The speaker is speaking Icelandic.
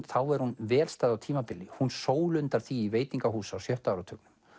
þá er hún vel stæð á tímabili hún sólundar því í veitingahús á sjötta áratugnum